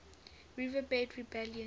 red river rebellion